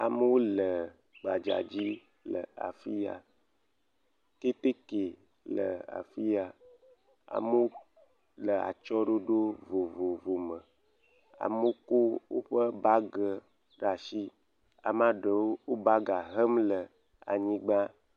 Amewo le gbadza dzi le afiya. Keteke le afiya. Amewo le atsyɔe ɖoɖo vovovowo me. Amewo kɔ woƒe bagi ɖe asi. Ame aɖewo le bagi hem le anyigba.